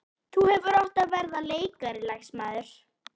Þú hefðir átt að verða leikari, lagsmaður.